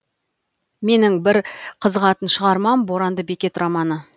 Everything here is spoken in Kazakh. менің бір қызығатын шығармам боранды бекет романы